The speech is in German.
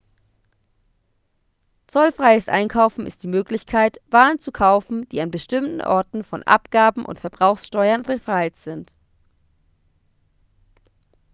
zollfreies einkaufen ist die möglichkeit waren zu kaufen die an bestimmten orten von abgaben und verbrauchssteuern befreit sind